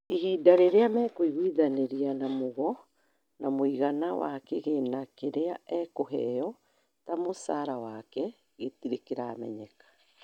ihinda rĩria makuigũithanĩria na Mugo, na mũigana wa kĩgina kĩria akuheyo ta mũcara wake gĩtire kĩramenyeka